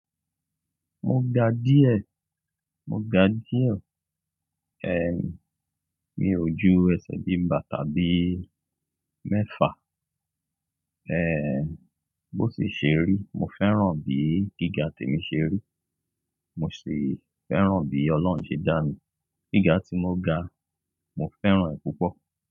Mo ga díẹ̀, mo ga díẹ̀. Ehn, mi ò ju ẹsẹ̀bíi bàtà bíi mẹ́fa. Ehn, bó ti ṣe rí, mo fẹ́ràn bíí gíga tí mo ṣe rí. Mo sì fẹ́ràn bí Ọlọ́run ṣe dá mi. Gíga tí mo ga, mo fẹ́ràn ẹ́ púpọ̀.